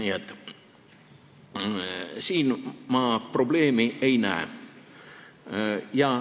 Nii et siin ma probleemi ei näe.